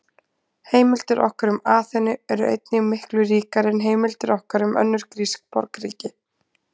Heimildir okkar um Aþenu eru einnig miklu ríkari en heimildir okkar um önnur grísk borgríki.